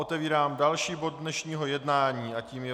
Otevírám další bod dnešního jednání a tím je